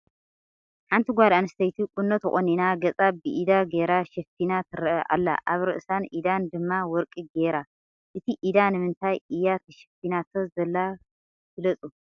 ሓንቲ ጓል ኣንስተይቲ ቁኖ ተቆኒና ገፃ ብኢዳ ገይራ ሸፋና ትርኣ ኣላ ። ኣብ ርእሳን ኢዳን ድማ ወርቂ ገይራ ። እቲ ኢዳ ንምንታይ እያ ተሸፊናቶ ዘላ ግለፁ ?